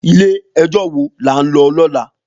Ilé èjò wó lá n lò lòlá?